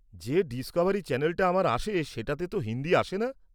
যে ডিসকভারি চ্যানেলটা আমার আসে সেটাতে তো হিন্দি আসে না।